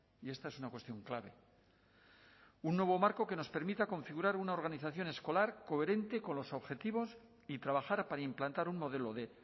y esta es una cuestión clave un nuevo marco que nos permita configurar una organización escolar coherente con los objetivos y trabajar para implantar un modelo de